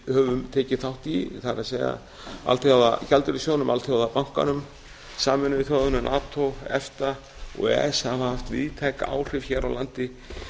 höfum tekið þátt í það er alþjóðagjaldeyrissjóðnum og alþjóðabankanum sameinuðu þjóðunum nato efta og e e s hafi haft víðtæk áhrif hér á landi